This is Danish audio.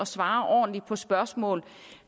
svare ordentligt på spørgsmål